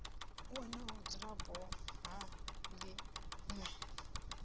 wana vhudzulapo ha ḽi ṅwe